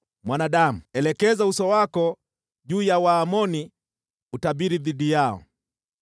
“Mwanadamu, elekeza uso wako juu ya Waamoni utabiri dhidi yao.